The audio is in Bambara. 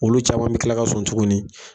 Olu caman bɛ tila ka sɔn tuguni.